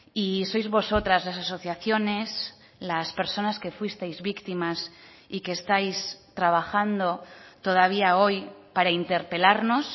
y sois vosotras las asociaciones las personas que fuisteis víctimas y que estáis trabajando todavía hoy para interpelarnos